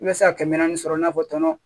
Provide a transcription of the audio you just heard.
I bɛ se ka kɛmɛ naani sɔrɔ i n'a fɔ tɔnɔ